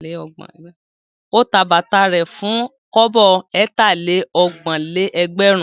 Ó ta bàtà rẹ̀ fún kọ́bọ̀ ẹ̀tà-lé-ọgbọ̀n-lé-ẹgbẹ̀rún.